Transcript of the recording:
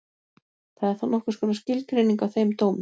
Það er þá nokkurs konar skilgreining á þeim dómi.